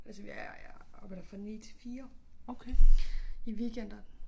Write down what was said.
Altså jeg arbejder fra 9 til 4 i weekenderne